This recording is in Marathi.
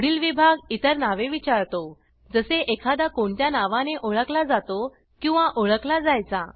पुढील विभाग इतर नावे विचारतो जसे एखादा कोणत्या नावाने ओळखला जातो किंवा ओळखला जायचा